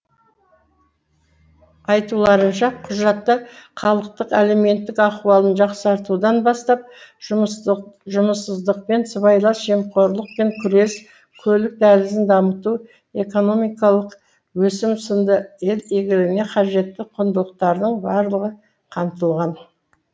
айтуларынша құжатта халықтық әлеуметтік ахуалын жақсартудан бастап жұмыссыздықпен сыбайлас жемқорлықпен күрес көлік дәлізін дамыту экономикалық өсім сынды ел игілігіне қажетті құндылықтардың барлығы қамтылған